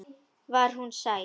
Var hún sæt?